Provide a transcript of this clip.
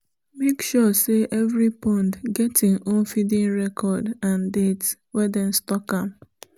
make sure say every pond get im own feeding record and date wey them stock am